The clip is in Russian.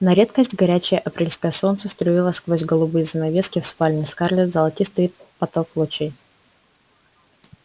на редкость горячее апрельское солнце струило сквозь голубые занавески в спальне скарлетт золотистый поток лучей